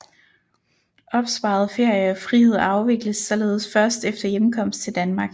Opsparet ferie og frihed afvikles således først efter hjemkomst til Danmark